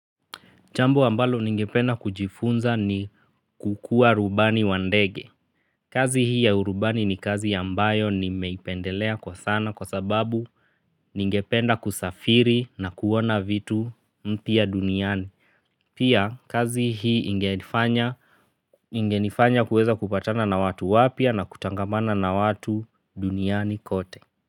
Jambo ambalo ningependa kujifunza ni kukua rubani wa ndege. Kazi hii ya urubani ni kazi ambayo nimeipendelea kwa sana kwa sababu ningependa kusafiri na kuona vitu mpya duniani. Pia kazi hii ingenifanya kuweza kupatana na watu wapya na kutangamana na watu duniani kote.